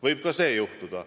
Võib ka see juhtuda.